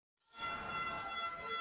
Bara á leið í sólina á Kanaríeyjum.